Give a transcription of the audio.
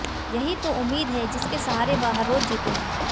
यही तो उम्मीद है जिसके सहारे वह हर रोज जीते हैं